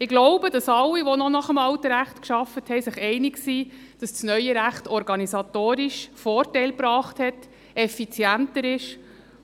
Ich glaube, dass alle, die noch nach dem alten Recht gearbeitet haben, sich einig sind, dass das neue Recht organisatorisch Vorteile gebracht hat, effizienter ist